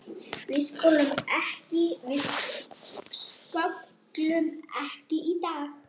Við sköllum ekki í dag!